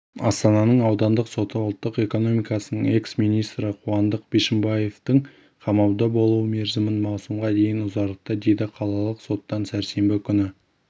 астананың аудандық соты ұлттық экономикасының экс-министрі қуандық бишімбаевтың қамауда болу мерзімін маусымға дейін ұзартты деді қалалық соттан сәрсенбі күні